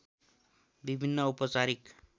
विभिन्न औपचारिक